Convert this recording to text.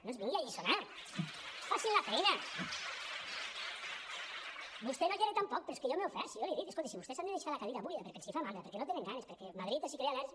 no ens vingui a alliçonar facin la feina vostè no hi era tampoc però és que jo m’he ofert si jo l’hi he dit escolti si vostès han de deixar la cadira buida perquè els fa mandra perquè no en tenen ganes perquè madrid els crea al·lèrgia